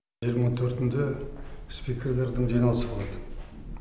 жиырма төртінде спикерлердің жиналысы болады